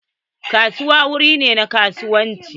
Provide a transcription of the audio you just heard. Kasuwa wuri ne na kasuwanci.